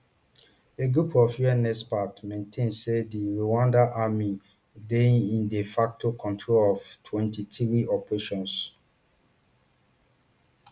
a group of un experts maintain say di rwandan army dey inde facto control of mtwenty-three operations